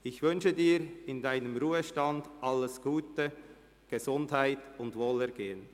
Ich wünsche Ihnen für den Ruhestand alles Gute, Gesundheit und Wohlergehen!